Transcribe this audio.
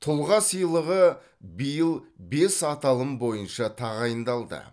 тұлға сыйлығы биыл бес аталым бойынша тағайындалды